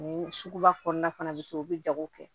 Ni suguba kɔnɔna fana bɛ kɛ u bɛ jago kɛ